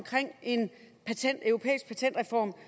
en europæisk patentreform